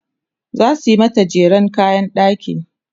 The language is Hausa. zasu mata jeren kayan ɗaki